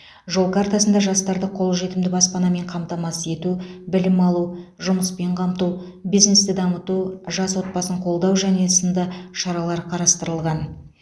жол картасында жастарды қол жетімді баспанамен қамтамасыз ету білім алу жұмыспен қамту бизнесті дамыту жас отбасын қолдау және сынды шаралар қарастырылған